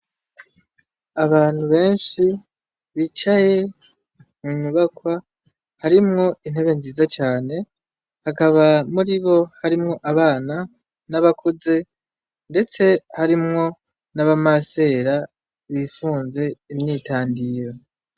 Abantu benshi bicaye munyubakwa harimwo intebe nziza cane hakaba muri bo harimwo abana n'abakuze, ndetse harimwo n'abamasera bifunze imyitandiro.